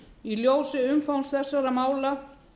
í ljósi umfangs þessara mála